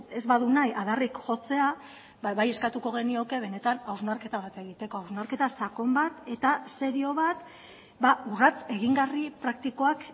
ez badu nahi adarrik jotzea bai eskatuko genioke benetan hausnarketa bat egiteko hausnarketa sakon bat eta serio bat urrats egingarri praktikoak